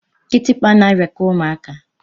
Kitikpa na-arịa kwa ụmụaka.